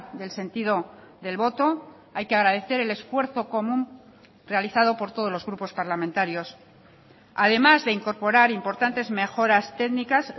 del sentido del voto hay que agradecer el esfuerzo común realizado por todos los grupos parlamentarios además de incorporar importantes mejoras técnicas